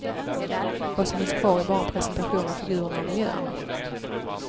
Vad som finns kvar är bara en presentation av figurerna och miljöerna.